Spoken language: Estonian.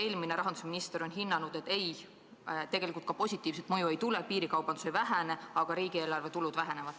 Eelmine rahandusminister on hinnanud, et positiivset mõju ei tule, piirikaubandus ei vähene, aga riigieelarve tulud vähenevad.